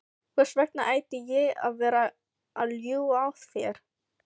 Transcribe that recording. Hvers vegna ætti ég að vera að ljúga að þér?